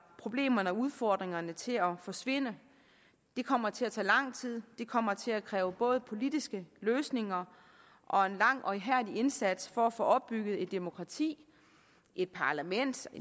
problemerne og udfordringerne til at forsvinde det kommer til at tage lang tid det kommer til at kræve både politiske løsninger og en lang og ihærdig indsats for at få opbygget et demokrati et parlament og